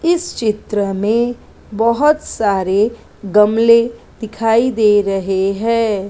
इस चित्र में बहोत सारे गमले दिखाई दे रहे हैं।